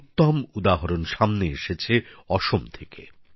এর এক উত্তম উদাহরণ সামনে এসেছে অসম থেকে